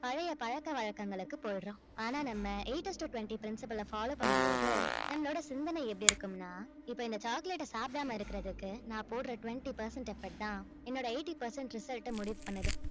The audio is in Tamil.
பழைய பழக்க வழக்கங்களுக்கு போயிடுறோம் ஆனா நம்ம eight is to twenty principle அ follow பண்ணும் போது நம்மளோட சிந்தனை எப்படி இருக்கும்னா இப்ப இந்த chocolate அ சாப்பிடாம இருக்கறதுக்கு நான் போடற twenty percent effort தான் என்னோட eighty percent result அ முடிவு பண்ணுது